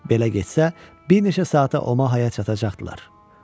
Belə getsə, bir neçə saata Omahaya çatacaqdılar.